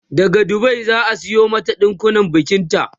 daga Dubai zaa Sayo mata ɗankunnen bikinta